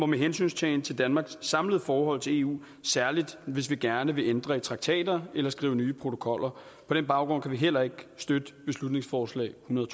med hensyntagen til danmarks samlede forhold til eu særlig hvis vi gerne vil ændre i traktater eller skrive nye protokoller på den baggrund kan vi heller ikke støtte beslutningsforslag nummer